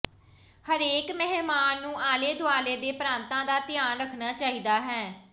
ਹਰੇਕ ਮਹਿਮਾਨ ਨੂੰ ਆਲੇ ਦੁਆਲੇ ਦੇ ਪ੍ਰਾਂਤਾਂ ਦਾ ਧਿਆਨ ਰੱਖਣਾ ਚਾਹੀਦਾ ਹੈ